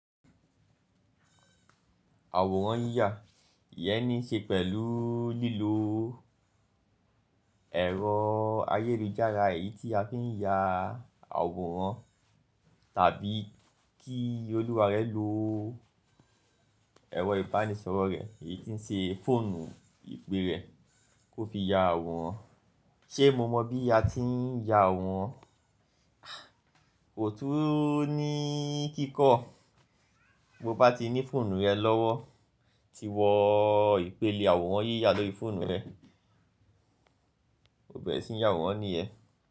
Àwòrán yíyà, ìyẹ́nìí ṣe pẹ̀lú lílo ẹ̀rọ ayélujára èyí tí a fi ń ya àwòrán tàbí kí olùwà rẹ lo ẹ̀rọ ìbánisọ̀rọ̀ rẹ̀, èyí tí ń ṣe fóònù ìpè rẹ̀ kó fi ya àwòrán. Ṣé mo mọ bí a ti ń ya àwòrán? Kò tún ní kíkọ́. Bo bá ti ní fóònù rẹ lọ́wọ́, tí wọ ìpele àwòrán yíyà lọ́rí fóònù rẹ, o bẹ̀rẹ̀ sí ní ya àwòrán nìyẹn.